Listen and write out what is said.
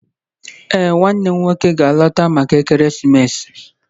Ee, nwannem nwoke ga-alọta maka ekeresimesi